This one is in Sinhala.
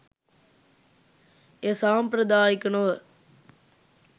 එය සාම්ප්‍රදායික නොව